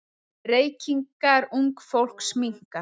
Reykingar ungs fólks minnka.